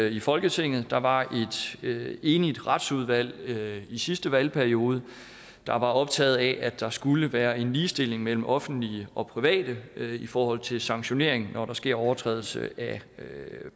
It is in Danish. i folketinget der var et enigt retsudvalg i sidste valgperiode der var optaget af at der skulle være en ligestilling mellem offentlige og private i forhold til sanktionering når der sker overtrædelse af